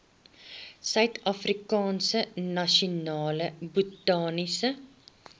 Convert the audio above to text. suidafrikaanse nasionale botaniese